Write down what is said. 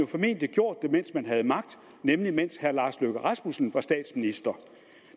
formentlig gjort det mens man havde magt nemlig mens herre lars løkke rasmussen var statsminister